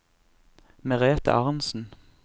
Merete Arntsen